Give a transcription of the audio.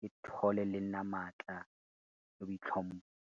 ke thole le nna matla le boitlhompho.